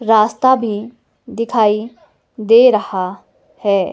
रास्ता भी दिखाई दे रहा है।